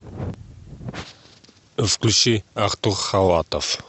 включи артур халатов